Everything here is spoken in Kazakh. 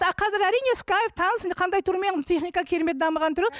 қазір әрине скайп таныс қандай түрімен техника керемет дамыған түрі